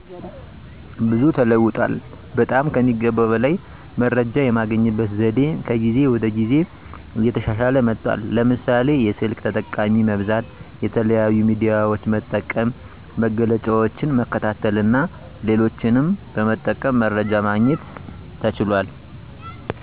ብዙ ተለውጧል። በጠም ከሚገባው በላይ መረጃየምናገኝበት ዘዴ ከጊዜ ወደ ጊዜ እየተሻሻለ መጥቷል። ለምሳሌ፦ የስልክ ተጠቃሚ መብዛት፣ የተለያዩ ሚዲያዎች መጠቀም፣ መግለጫዎችን መከታተልና ሌሎችንም በመጠቀም መረጃ ማግኘት ተችሏል።